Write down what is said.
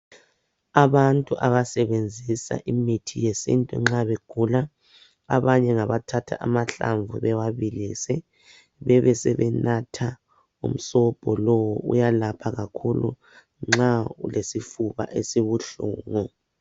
Abantu abasebenzisa imithi yesintu nxa begula abanye ngabathatha amahlamvu bewabilise bebesebe natha umsobho lowo uyalapha kakhulu nxa ulesifuba esibuhlungu.